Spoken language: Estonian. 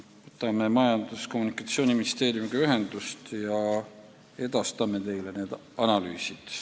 Võtan Majandus- ja Kommunikatsiooniministeeriumiga ühendust ja edastame teile need analüüsid.